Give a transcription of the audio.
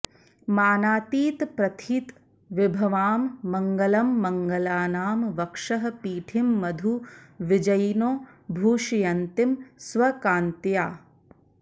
मानातीत प्रथित विभवां मङ्गलं मङ्गलानां वक्षः पीठीं मधु विजयिनो भूषयन्तीं स्वकान्त्या